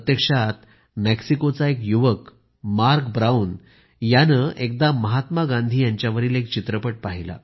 प्रत्यक्षात मेक्सिकोचा एक युवक मार्क ब्राऊन यानं एकदा महात्मा गांधी यांच्यावरील एक चित्रपट पाहिला